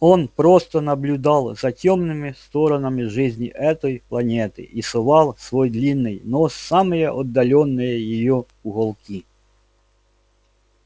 он просто наблюдал за тёмными сторонами жизни этой планеты и совал свой длинный нос в самые отдалённые её уголки